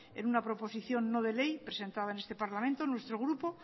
en una proposición no de ley presentada en este parlamento nuestro grupo